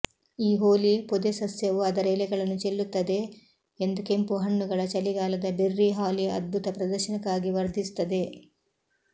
ಈ ಹೋಲಿ ಪೊದೆಸಸ್ಯವು ಅದರ ಎಲೆಗಳನ್ನು ಚೆಲ್ಲುತ್ತದೆ ಎಂದು ಕೆಂಪು ಹಣ್ಣುಗಳ ಚಳಿಗಾಲದ ಬೆರ್ರಿ ಹಾಲಿ ಅದ್ಭುತ ಪ್ರದರ್ಶನಕ್ಕಾಗಿ ವರ್ಧಿಸುತ್ತದೆ